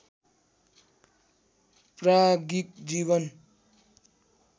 प्राज्ञिक जीवन